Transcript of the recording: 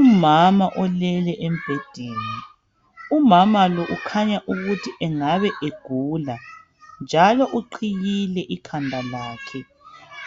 Umama ulele embhedeni, umama lo ukhanya ukuthi engabe egula, njalo uqhiyile ikhanda lakhe.